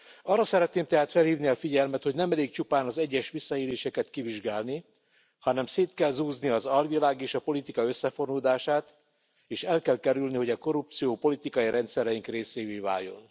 Arra szeretném tehát felhívni a figyelmet, hogy nem elég csupán az egyes visszaéléseket kivizsgálni, hanem szét kell zúzni az alvilág és a politika összefonódását, és el kell kerülni, hogy a korrupció politikai rendszereink részévé váljon.